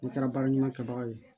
N'i taara baara ɲɛnama kɛbaga ye